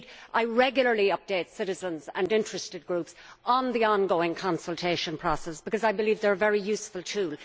I regularly update citizens and interested groups on the ongoing consultation processes because I believe they are a very useful tool.